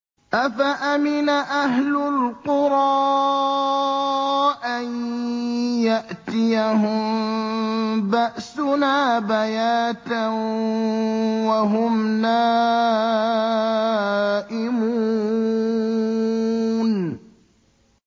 أَفَأَمِنَ أَهْلُ الْقُرَىٰ أَن يَأْتِيَهُم بَأْسُنَا بَيَاتًا وَهُمْ نَائِمُونَ